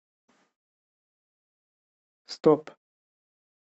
стоп